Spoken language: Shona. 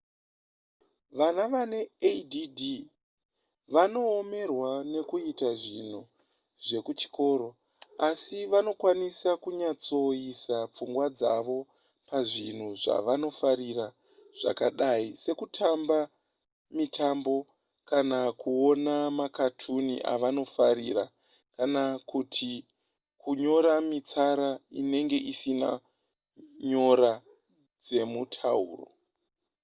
vana vane add vanoomerwa nekuita zvinhu zvekuchikoro asi vanokwanisa kunyatsoisa pfungwa dzavo pazvinhu zvavanofarira zvakadai sekutamba mitambo kana kuona makatuni avanofarira kana kuti kunyora mitsara inenge isina nyora dzemutauro